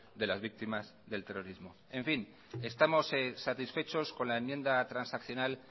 de las víctimas del terrorismo en fin estamos satisfechos con la enmienda transaccional